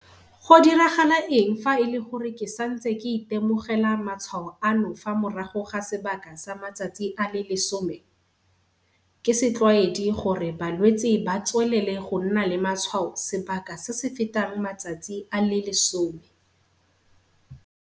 Go diragala eng fa e le gore ke santse ke itemogela matshwao ano fa morago ga sebaka sa matsatsi a le 10?Ke setlwaedi gore balwetse ba tswelele go nna le matshwao sebaka se se fetang matsatsi a le 10.